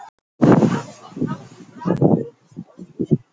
Enginn gat vitað það nema mamma.